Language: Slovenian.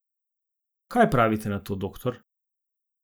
Kaj pravite na to, doktor?